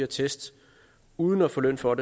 test uden at få løn for